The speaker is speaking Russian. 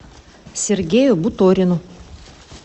сергею буторину